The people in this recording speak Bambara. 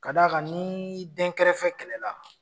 Ka d'a kan ni dɛnkɛrɛfɛ kɛlɛla.